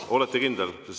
Olete kindel?